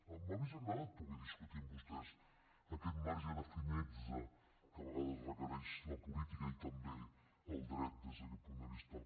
m’hauria agradat poder discutir amb vostès aquest marge de finezza que a vegades requereix la política i també el dret des d’aquest punt de vista